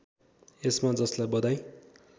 यसमा जसलाई बधाई